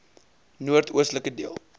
noord oostelike deel